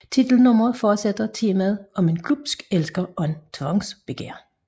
Titelnummeret fortsætter temaet om en glubsk elsker og tvangsbegær